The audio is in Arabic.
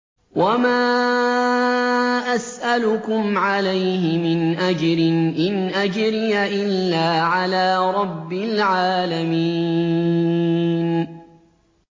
وَمَا أَسْأَلُكُمْ عَلَيْهِ مِنْ أَجْرٍ ۖ إِنْ أَجْرِيَ إِلَّا عَلَىٰ رَبِّ الْعَالَمِينَ